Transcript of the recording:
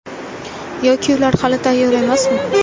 Yoki ular hali tayyor emasmi?